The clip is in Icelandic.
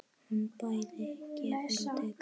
Hún bæði gefur og tekur.